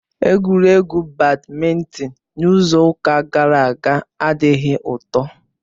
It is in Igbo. Egwuregwu badmịntịn n'izu ụka gara aga adịghị ụtọ.